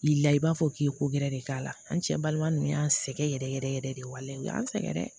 I la i b'a fɔ k'i ye ko gɛrɛ de k'a la an cɛ balima ninnu y'an sɛgɛn yɛrɛ yɛrɛ yɛrɛ de waleya u y'an sɛgɛn dɛ